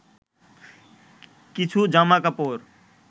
কিছু জামাকাপড়